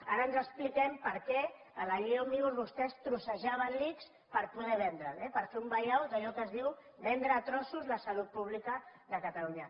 ara ens expliquem per què en la llei òmnibus vostès trossejaven l’ics per poder vendre’l eh per fer un vallado d’allò que se’n diu vendre a trossos la salut pública de catalunya